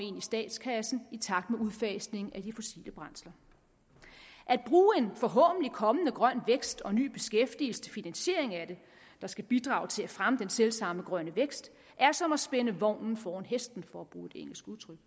i statskassen i takt med udfasningen af de fossile brændsler at bruge en forhåbentlig kommende grøn vækst og ny beskæftigelse til finansiering af det der skal bidrage til at fremme den selv samme grønne vækst er som at spænde vognen foran hesten for at bruge et engelsk udtryk